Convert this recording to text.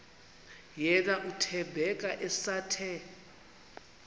yena uthembeka esathe